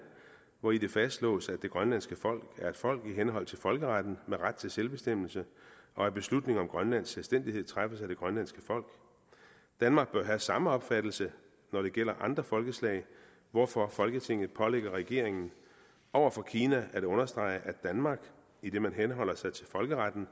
hvori det fastslås at det grønlandske folk er et folk i henhold til folkeretten med ret til selvbestemmelse og at beslutning om grønlands selvstændighed træffes af det grønlandske folk danmark bør have samme opfattelse når det gælder andre folkeslag hvorfor folketinget pålægger regeringen over for kina at understrege at danmark idet man henholder sig til folkeretten